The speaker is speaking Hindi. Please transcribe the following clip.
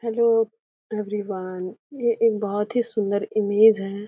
हैलो एवरीवन ये एक बहुत ही सुंदर इमेज है।